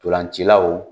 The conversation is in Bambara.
Ntolancilaw